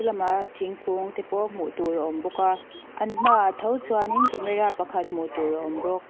lam ah thingkung te pawh hmuh tur awm bawk a an hma ah tho chuan camera hmuh tur pakhat awm bawk.